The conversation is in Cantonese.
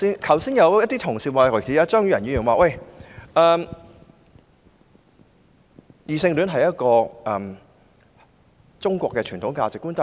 剛才有同事表示異性戀是中國傳統價值觀。